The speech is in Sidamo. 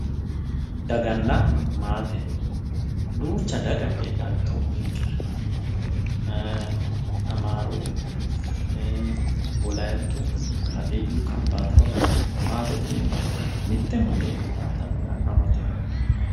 Daganna maate duucha daga heedha itophiyinkera Amaaru heera wolaayittu woy hadiyyu kambaata"oo lawinori Maatete yineemmoti mitte mundeenii xaaddannote anuu amate